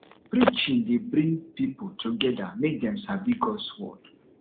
preaching dey bring pipo together mek dem sabi gods word